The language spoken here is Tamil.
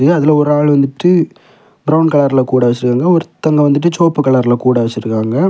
அதுல ஒரு ஆள் வந்துட்டு பிரவுன் கலர்ல கூட வச்சிருக்காங்க ஒருத்தங்க வந்துட்டு செவப்பு கலர்ல கூட வச்சிருக்காங்க.